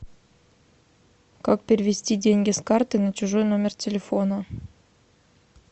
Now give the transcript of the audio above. как перевести деньги с карты на чужой номер телефона